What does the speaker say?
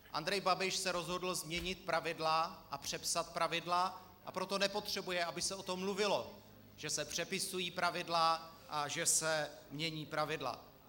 Andrej Babiš se rozhodl změnit pravidla a přepsat pravidla, a proto nepotřebuje, aby se o tom mluvilo, že se přepisují pravidla a že se mění pravidla.